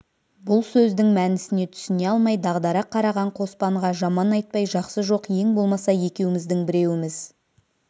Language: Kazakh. бұл сөздің мәнісіне түсіне алмай дағдара қараған қоспанға жаман айтпай жақсы жоқ ең болмаса екеуміздің біреуіміз